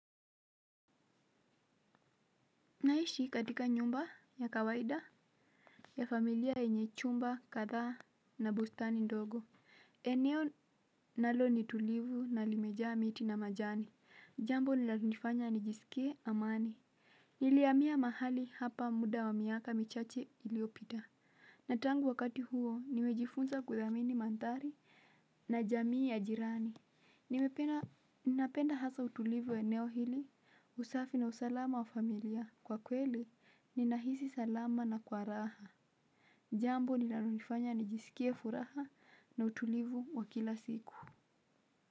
Naishi katika nyumba ya kawaida ya familia yenye chumba kadhaa na bustani ndogo eneo nalo ni tulivu na limejaa miti na majani jambo linalonifanya nijisikie amani. Nilihamia mahali hapa muda wa miaka michache iliopita na tangu wakati huo nimejifunza kuthamini mandhari na jamii ya jirani nimependa ninapenda hasa utulivu wa eneo hili, usafi na usalama wa familia. Kwa kweli, ninahisi salama na kwa raha. Jambo linalonifanya nijiskie furaha na utulivu wa kila siku.